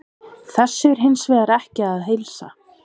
Þessu er hins vegar ekki að heilsa.